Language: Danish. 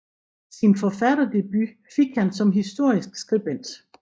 Sin forfatterdebut fik han som historisk skribent